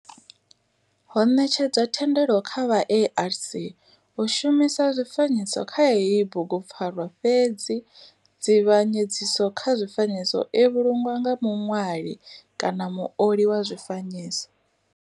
Ho netshedzwa thendelo kha vha ARC u shumisa zwifanyiso kha heyi bugupfarwa fhedzi dzivhanyedziso kha zwifanyiso i vhulungwa nga muṋwali kana muoli wa zwifanyiso.